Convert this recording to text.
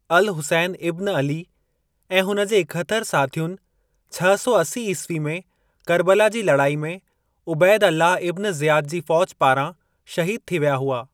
Al-Hussain ibn Ali ऐं हुन जे एकहतरि साथियुनि छह सौ असी ईस्वी में करबला जी लड़ाई में उबैद अल्लाह इब्न ज़ियाद जी फ़ौज पारां शहीद थी विया हुआ।